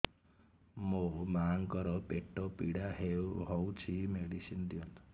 ମୋ ମାଆଙ୍କର ପେଟ ପୀଡା ହଉଛି ମେଡିସିନ ଦିଅନ୍ତୁ